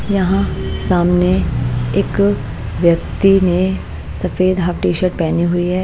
यहाँ सामने एक व्यक्ति ने सफेद हाफ टी शर्ट पहनी हुई है।